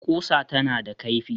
Ƙusa tana da kaifi